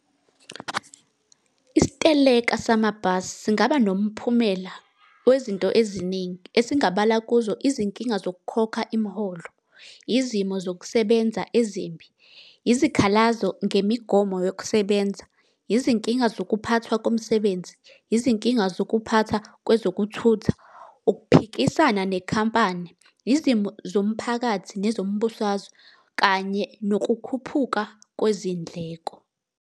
Isiteleka samabhasi singaba nomphumela wezinto eziningi. Esingabala kuzo izinkinga zokukhokha imiholo, izimo zokusebenza ezimbi, izikhalazo ngemigomo yokusebenza, zinkinga zokuphathwa komsebenzi, izinkinga zokuphatha kwezokuthutha, ukuphikisana nekhampani, izimo zomphakathi, nezombusazwe kanye nokukhuphuka kwezindleko.